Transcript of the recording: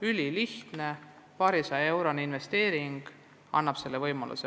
Ülilihtne, paarisajaeurone lahendus annab selle võimaluse.